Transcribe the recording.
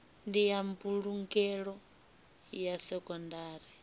ndi ya mbulungelo ya sekondari